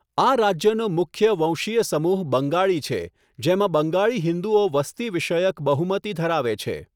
આ રાજ્યનો મુખ્ય વંશીય સમૂહ બંગાળી છે, જેમાં બંગાળી હિન્દુઓ વસ્તી વિષયક બહુમતી ધરાવે છે.